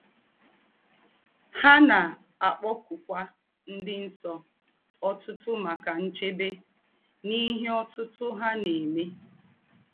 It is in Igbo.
Há na - àkpọ̀kụ̀kwà “ ńdị nsọ ” ọ̀tụ̀tụ̀ màkà nchèbè n’ìhè ọ̀tụ̀tụ̀ hà na - èmè.